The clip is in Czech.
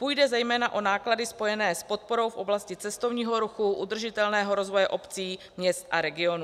Půjde zejména o náklady spojené s podporou v oblasti cestovního ruchu, udržitelného rozvoje obcí, měst a regionů.